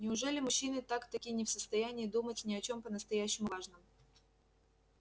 неужели мужчины так-таки не в состоянии думать ни о чем по-настоящему важном